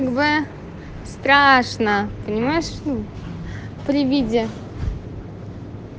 вы страшно понимаешь у при виде